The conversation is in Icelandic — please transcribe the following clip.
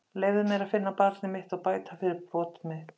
Leyfðu mér að finna barnið mitt og bæta fyrir brot mitt.